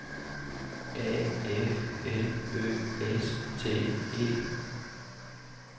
A F L Ø S T E